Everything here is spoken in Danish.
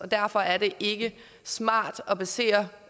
derfor er det ikke smart at basere